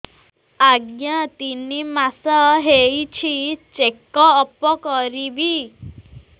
ଆଜ୍ଞା ତିନି ମାସ ହେଇଛି ଚେକ ଅପ କରିବି